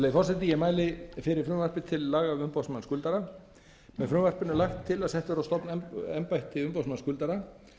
virðulegi forseti ég mæli fyrir frumvarpi til laga um umboðsmann skuldara með frumvarpinu er lagt til að sett verði á stofn embætti umboðsmanns skuldara